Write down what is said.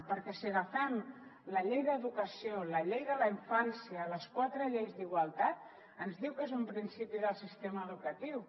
perquè si agafem la llei d’educació la llei de la infància les quatre lleis d’igualtat ens diu que és un principi del sistema educatiu